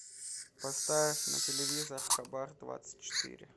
поставь на телевизор хабар двадцать четыре